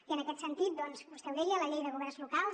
i en aquest sentit doncs vostè ho deia la llei de governs locals